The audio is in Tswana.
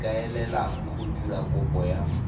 ikaelelang go dira kopo ya